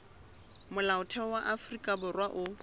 molaotheo wa afrika borwa o